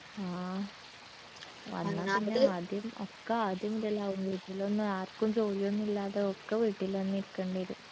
ആ ആദ്യം ഒക്ക ആദ്യം മുതലാവും വീട്ടിലൊന്നു ആർക്കും ജോലിയൊന്നുല്ലാതെ ഒക്ക വീട്ടിലെന്നെ ഇരിക്കണ്ടി വരും